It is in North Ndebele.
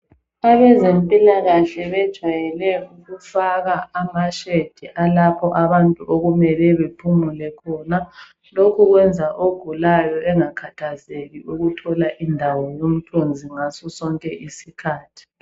Abezempilakahle bejwayele ukufaka amashade alapho abantu okumele bephumule khona. Lokhu kwenza ogulayo engakhathazeki ukuthola indawo yomthunzi ngasosonke isikhathi.